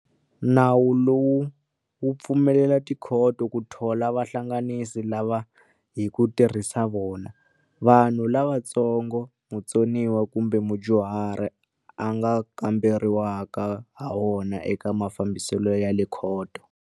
Nawu lowu wu pfumelela tikhoto ku thola vahlanganisi lava hi ku tirhisa vona, vanhu lavantsongo, mutsoniwa kumbe mudyuhari a nga kamberiwaka hawona eka mafambiselo ya le khoto.